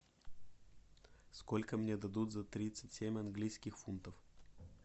сколько мне дадут за тридцать семь английских фунтов